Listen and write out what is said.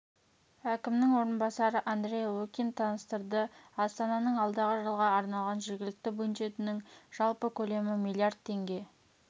әкімнің орынбасары андрей лукин таныстырды астананың алдағы жылға арналған жергілікті бюджетінің жалпы көлемі миллиард теңге